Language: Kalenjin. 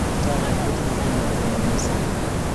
Chomnyet kotinyei kimnatet ne ng'usei.